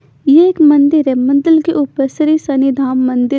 ये एक मंदिर है मंदिर के ऊपर श्री शनि धाम मंदिर--